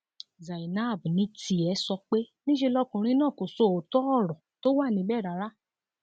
zainab ní tiẹ sọ pé níṣe lọkùnrin náà kò sọ òótọ ọrọ tó wà níbẹ rárá